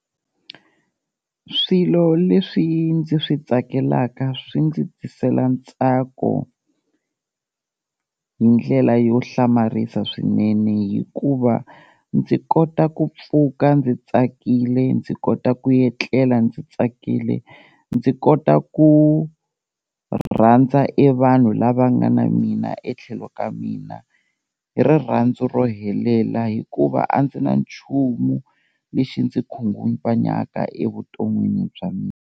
Swilo leswi ndzi swi tsakelaka swi ndzi tisela ntsako hi ndlela yo hlamarisa swinene hikuva ndzi kota ku pfuka ndzi tsakile, ndzi kota ku etlela ndzi tsakile, ndzi kota ku rhandza e vanhu lava nga na mina etlhelo ka mina hi rirhandzu ro helela hikuva a ndzi na nchumu lexi ndzi khunguvanyaka evuton'wini bya mina.